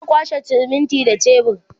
za'a kwashe siminti da shebur